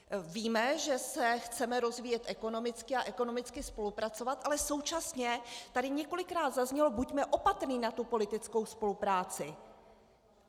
Víme, že se chceme rozvíjet ekonomicky a ekonomicky spolupracovat, ale současně tady několikrát zaznělo - buďme opatrní na tu politickou spolupráci.